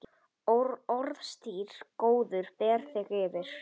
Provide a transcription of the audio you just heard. Orðstír góður ber þig yfir.